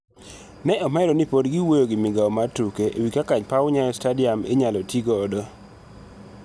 Ne omedo ni pod giwuoyo gi migao mar tuke e wi kaka paw Nyayo Stadium inyal ti godo.